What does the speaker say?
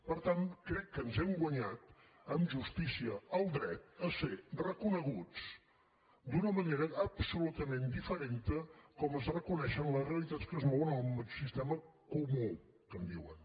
per tant crec que ens hem guanyat amb justícia el dret a ser reconeguts d’una manera absolutament diferent de com es reconeixen les realitats que es mouen al sistema comú que en diuen